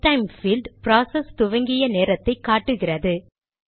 எஸ்டைம் field process துவங்கிய நேரத்தை காட்டுகிறது